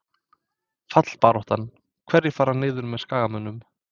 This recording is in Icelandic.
Fallbaráttan- Hverjir fara niður með Skagamönnum?